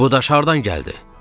Bu daş hardan gəldi?